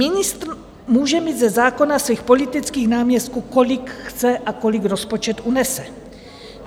Ministr může mít ze zákona svých politických náměstků, kolik chce a kolik rozpočet unese.